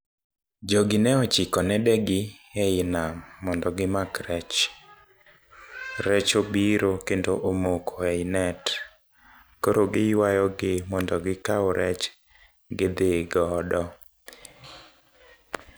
Jogi ne ochiko nede gi ei nam mondo gimak rech. Rech obiro kendo omoko ei net, koro giywayo gi mondo gikau rech gidhi godo.